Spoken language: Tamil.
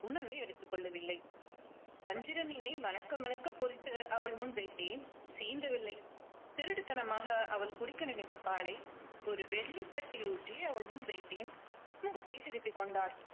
உணவே எடுத்துக் கொள்ளவில்ல வஞ்சிரம் மீனை மணக்க மணக்க பொறித்து அவள் முன் வைத்தேன். சீண்டவில்லை திருட்டுத்தனமாக அவள் குடிக்க நினைத்த பாலை ஒரு வெள்ளித் தட்டில் ஊற்றி அவள் முன் வைத்தேன். முகத்தை திருப்பிக் கொண்டாள்.